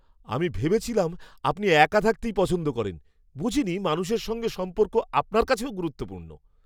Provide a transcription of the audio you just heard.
আমি ভেবেছিলাম আপনি একা থাকতেই পছন্দ করেন। বুঝিনি মানুষের সঙ্গে সম্পর্ক আপনার কাছেও গুরুত্বপূর্ণ!